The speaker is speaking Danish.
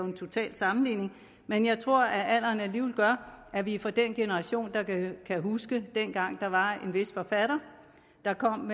en total sammenligning men jeg tror at alderen alligevel gør at vi er fra den generation der kan huske dengang der var en vis forfatter der kom